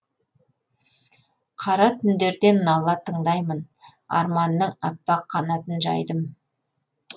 қара түндерден нала тыңдаймын арманның аппақ қанатын жайдым